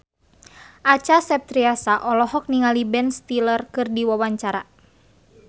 Acha Septriasa olohok ningali Ben Stiller keur diwawancara